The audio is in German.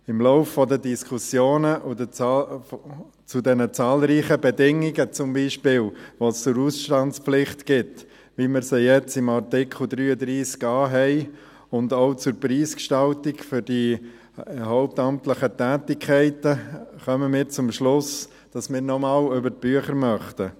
Im Laufe der Diskussionen zu den zahlreichen Bedingungen, die es zum Beispiel zur Ausstandspflicht, wie wir sie jetzt im Artikel 33a haben, gibt, und auch zur Preisgestaltung der hauptamtlichen Tätigkeiten, kommen wir zum Schluss, dass wir noch einmal über die Bücher gehen möchten.